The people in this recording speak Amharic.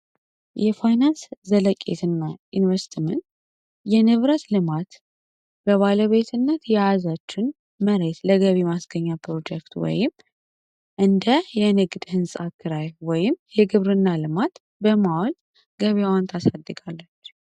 የፋይናንስ ዘለቂት ና ኢንቨስትምንት የንብረት ልማት በባለ ቤትነት የያዛችን መሬስ ለገቢ ማስገኛ ፕሮጀክት ወይም እን. የንግድ ሕንፃክራኤወ የግብር እና ልማት በማወል ገቤ ዋንት ሳድጋል፡፡